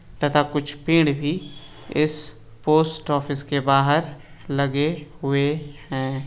तथा कुछ पेड़ भी इस पोस्ट ऑफिस के बाहर लगे हुए हैं।